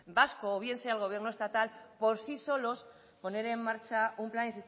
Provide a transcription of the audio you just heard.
vasco o bien sea el gobierno estatal por sí solos poner en marcha un plan